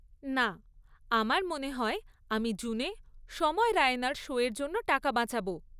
না, আমার মনে হয় আমি জুনে সময় রায়নার শো এর জন্য টাকা বাঁচাব।